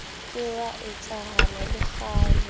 ke wa etsahala le kgale